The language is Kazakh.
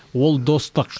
ол достық